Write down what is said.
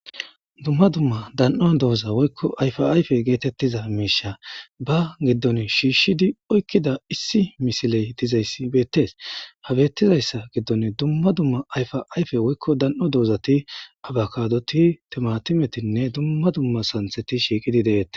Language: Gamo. Dumma dumma dan7o dooza woykko ayfa ayfe geetettiza miisha ba giddon shiishshidi oykkida issi misiley dizay bettees habettizayssa giddon dumma dumma ayfa ayfe woykko dan7o doozati abakadoti timatimetinne dumma dumma santheti shiiqidi deettes.